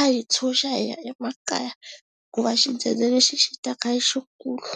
a hi tshunxa hi ya emakaya hikuva xidzedze lexi xi taka i xikulu.